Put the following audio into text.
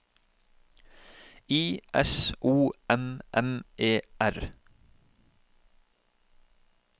I S O M M E R